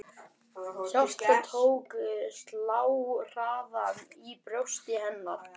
Hjartað tók að slá hraðar í brjósti hennar.